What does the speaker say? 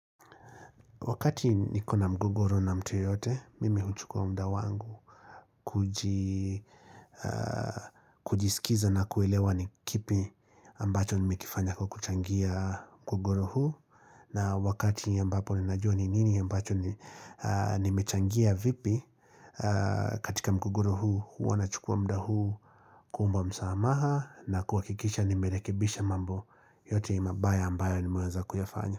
Wakati nikona mgogoro na mtu yeyote, mimi huchukua muda wangu kujisikiza na kuelewa ni kipi ambacho nimekifanya kwa kuchangia mgogoro huu. Na wakati ambapo ninajua ni nini ambacho nimechangia vipi katika mgogoro huu, huwa nachukua muda huu kuomba msamaha na kuhakikisha nimerekibisha mambo yote mabaya ambayo nimeweza kuyafanya.